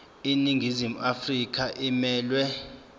iningizimu afrika emelwe